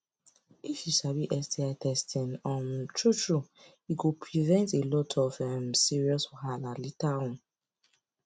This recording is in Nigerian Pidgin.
if u sabi sti testing um true true e go prevent a lot of um serious wahala later on